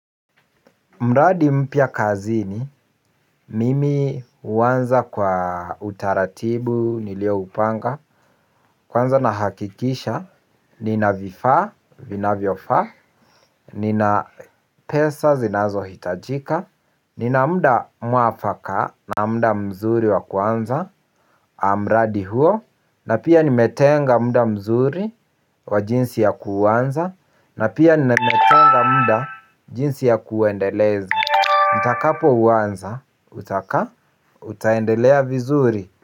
Mradi mpya kazini, mimi huanza kwa utaratibu, nilioupanga. Kwanza nahakikisha, nina vifaa, vinavyofaa, nina pesa zinazohitajika. Nina muda mwafaka, na muda mzuri wa kuanza, mradi huo. Na pia nimetenga muda mzuri wa jinsi ya kuanza. Na pia nimetenga muda jinsi ya kuendeleza nitakapouanza? Utaka? Utaendelea vizuri?